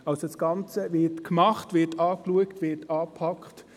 Also das Ganze wird gemacht, angeschaut, angepackt.